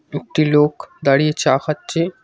একটি লোক দাঁড়িয়ে চা খাচ্ছে।